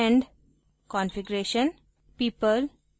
extend configuration